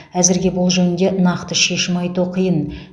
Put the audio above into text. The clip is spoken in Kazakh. әзірге бұл жөнінде нақты шешім айту қиын